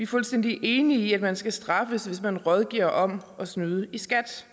fuldstændig enige i at man skal straffes hvis man rådgiver om at snyde i skat